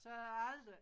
Så er der aldrig